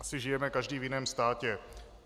Asi žijeme každý v jiném státě.